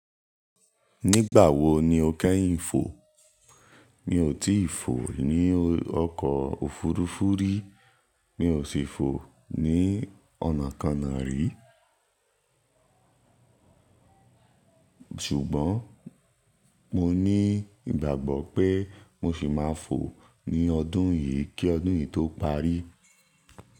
Nígbà wo ni o kẹ́yìn fò? Mi ò tíì fò ní ọkọ̀ òfurufú rí. Mi ò sì fò ní ọ̀nà ko náà rí. Ṣùgbọ́n mo ní ìgbàgbọ́ pé mo sì máa fò ní ọdún yìí kí ọdún yìí tó parí.